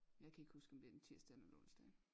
Jeg kan ikke huske om det er en tirsdag eller en onsdag